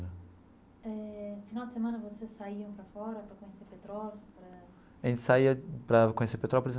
Eh no final de semana, vocês saíam para fora para conhecer Petrópolis eh? A gente saía para conhecer Petrópolis.